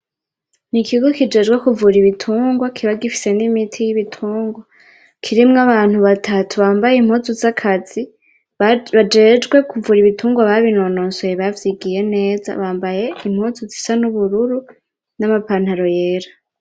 Nikigo kijejwe kuvura ibitungwa kiba gifise nimiti yibitungwa kirimwo abantu batatu bambaye impuzu zakazi bajejwe kuvura ibitungwa babinonosoye bavyigiye neza, bambaye impuzu zisa nubururu namapantaro yera